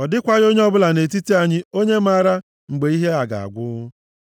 Ọ dịkwaghị onye ọbụla nʼetiti anyị onye maara, mgbe ihe a ga-agwụ.